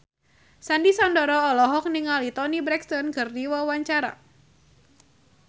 Sandy Sandoro olohok ningali Toni Brexton keur diwawancara